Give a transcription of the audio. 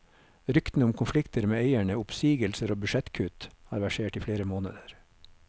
Ryktene om konflikter med eierne, oppsigelser og budsjettkutt har versert i flere måneder.